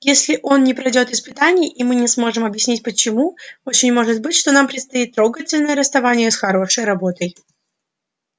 если он не пройдёт испытаний и мы не сможем объяснить почему очень может быть что нам предстоит трогательное расставание с хорошей работой